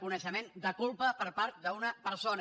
coneixement de culpa per part d’una persona